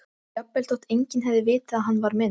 Já, svarar hún án þess að blikna.